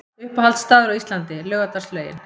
Uppáhalds staður á Íslandi: Laugardalslaugin